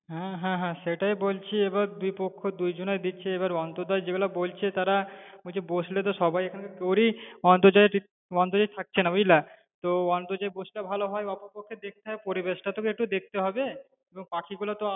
হ্যাঁ হ্যাঁ হ্যাঁ সেটাই বলছি এবার দুইপক্ষ দুজনার দিচ্ছে এবার অন্তর্জাল যেইগুলো বলছে তারা বলছে বসলে তো সবাই এখানে পড়ি, অন্তর্জালই ঠিক অন্তর্জালই থাকছে না বুঝলা তো অন্তর্জাল বসলে ভালো হয় অপরপক্ষে দেখতে হবে, পরিবেশটাও একটু দেখতে হবে, এবং পাখিগুলো তো